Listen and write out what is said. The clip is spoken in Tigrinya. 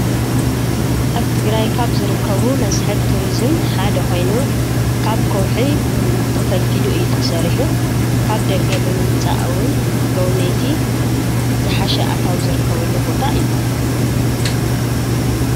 ኣብ ትግራይ ካብ ዝርከቡ መስሕብ ቱሪዝም ሓደ ኮይኑ ካብ ከዉሒ ብእምኒ ተፈልፊሉ እዩ ተሰሪሑ፤ ካብ ደገ ብምምፃእ እዉን ጎብነይቲ ዝሓሸ ኣታዊ ዝርከበሉ ቦታ እዩ፡፡